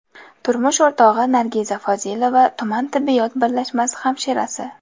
Turmush o‘rtog‘i Nargiza Fozilova tuman tibbiyot birlashmasi hamshirasi.